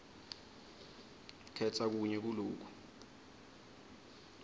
khetsa kunye kuloku